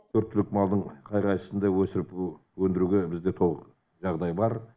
төрт түлік малдың қай қайсысын да өсіріп өндіруге бізде жағдай бар